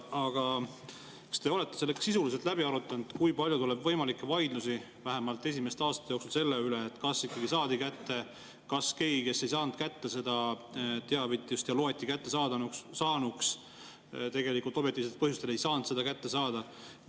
Aga kas te olete selle ka sisuliselt läbi arutanud, kui palju tuleb võimalikke vaidlusi, vähemalt esimeste aastate jooksul, selle üle, kas ikkagi saadi kätte, kas keegi, kes ei saanud kätte seda teavitust ja loeti kättesaanuks, tegelikult objektiivsetel põhjustel ei saanud seda kätte saada?